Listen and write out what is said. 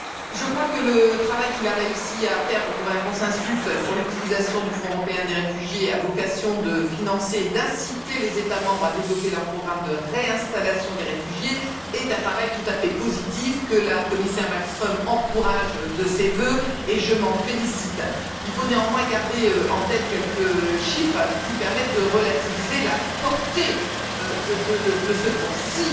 Je crois que le travail qu'il a réussi à faire pour trouver un consensus sur l'utilisation du Fonds européen des réfugiés, dont la vocation est de financer et d'inciter les États membres à développer leur programme de réinstallation des réfugiés, est un travail tout à fait positif que la commissaire Malmström encourage de ses vœux et je m'en félicite. Il faut néanmoins garder en tête quelques chiffres qui permettent de relativiser la portée de ce Fonds.